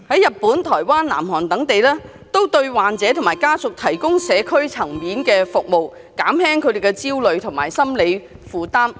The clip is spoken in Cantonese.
日本、台灣、南韓等地都對患者和家屬提供社區層面的服務，減輕他們的焦慮和心理負擔。